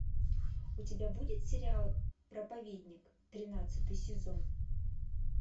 у тебя будет сериал проповедник тринадцатый сезон